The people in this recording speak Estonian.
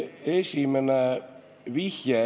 Esimene vihje.